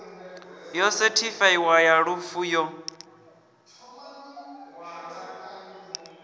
yo sethifaiwaho ya lufu yo